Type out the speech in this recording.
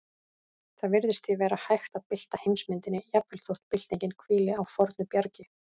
Það virðist því vera hægt að bylta heimsmyndinni, jafnvel þótt byltingin hvíli á fornu bjargi.